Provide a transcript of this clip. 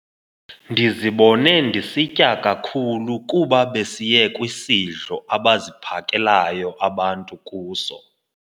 Ndizibone ndisitya kakhulu kuba besiye kwisidlo abaziphakelayo abantu kuso.